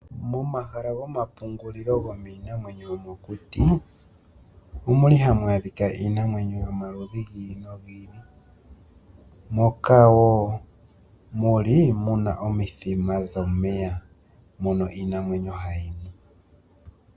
Momahala go mapungulilo go miinamwenyo yo mokuti, omulibhamh a dhika iinamwenyo yo maludhi gi ili no gi ili, moka wo muli mana omithima dho meya, mono iinamwenyo hayi nu.